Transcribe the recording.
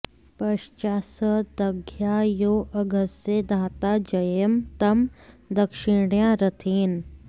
प॒श्चा स द॑घ्या॒ यो अ॒घस्य॑ धा॒ता जये॑म॒ तं दक्षि॑णया॒ रथे॑न